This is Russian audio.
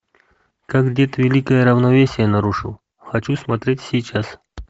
как дед великое равновесие нарушил хочу смотреть сейчас